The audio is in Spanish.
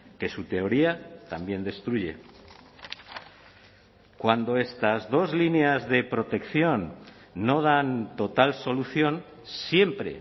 que su teoría también destruye cuando estas dos líneas de protección no dan total solución siempre